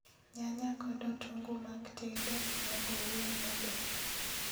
nyanya kod otungu mag tedo onego oum maber